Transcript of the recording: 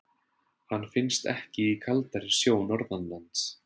Hann finnst ekki í kaldari sjó Norðanlands.